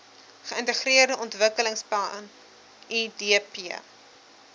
geintegreerde ontwikkelingsplan idp